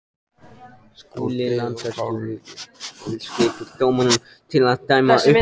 Skuli landsstjórnin og skipa dómendur til að dæma uppdrættina.